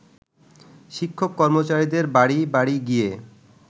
শিক্ষক-কর্মচারীদের বাড়ি বাড়ি গিয়ে